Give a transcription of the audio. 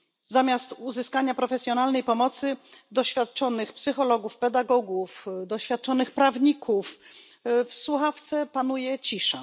Zamiast uzyskania profesjonalnej pomocy doświadczonych psychologów, pedagogów, doświadczonych prawników, w słuchawce panuje cisza.